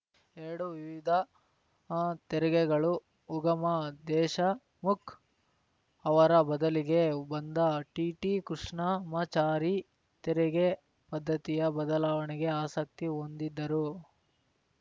ಎರಡು ವಿವಿಧ ತೆರಿಗೆಗಳು ಉಗಮ ದೇಶಮುಖ್‌ ಅವರ ಬದಲಿಗೆ ಬಂದ ಟಿಟಿ ಕೃಷ್ಣಮಾಚಾರಿ ತೆರಿಗೆ ಪದ್ಧತಿಯ ಬದಲಾವಣೆಗೆ ಆಸಕ್ತಿ ಹೊಂದಿದ್ದರು